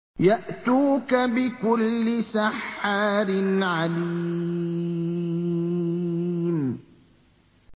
يَأْتُوكَ بِكُلِّ سَحَّارٍ عَلِيمٍ